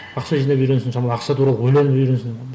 ақша жинап үйренсін шамалы ақша туралы ойлап үйренсін